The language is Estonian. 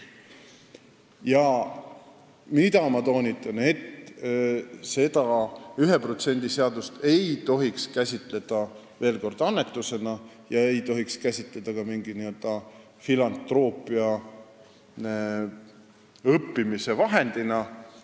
Ja ma toonitan veel kord, et 1% seadust ei tohiks käsitleda annetusena ega ka mingi filantroopia õppimise vahendina.